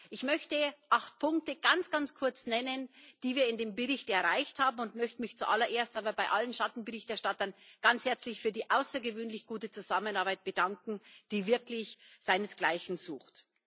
Ich möchte acht Punkte ganz kurz nennen, die wir in dem Bericht erreicht haben, und möchte mich zuallererst bei allen Schattenberichterstattern ganz herzlich für die außergewöhnlich gute Zusammenarbeit bedanken, die wirklich ihresgleichen sucht.